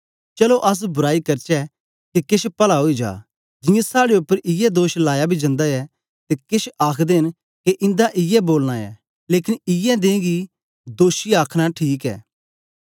चलो अस बुराई करचै के केछ पल्ला ओई जा जियां साड़े उपर इयै दोष लाया बी जंदा ऐ ते केछ आखदे न के इन्दा इयै बोलना ऐ लेकन इयै दें गी दोषी आखन ठीक ऐ